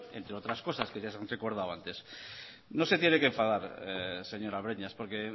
entre otras cosas que ya se han recordado antes no se tiene que enfadar señora breñas porque